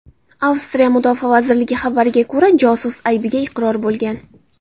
Avstriya mudofaa vazirligi xabariga ko‘ra, josus aybiga iqror bo‘lgan.